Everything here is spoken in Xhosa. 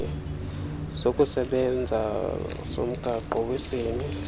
sokusebenza somgaqo wesini